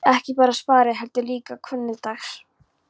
Ekki bara spari, heldur líka hvunndags.